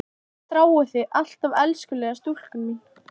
Ég þrái þig alt af elskulega stúlkan mín.